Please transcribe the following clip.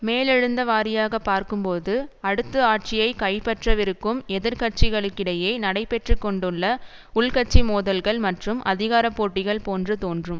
மேலெழுந்தவாரியாக பார்க்கும்போது அடுத்து ஆட்சியை கைப்பற்றவிருக்கும் எதிர் கட்சிகளுக்கிடையே நடைபெற்று கொண்டுள்ள உள்கட்சி மோதல்கள் மற்றும் அதிகார போட்டிகள் போன்று தோன்றும்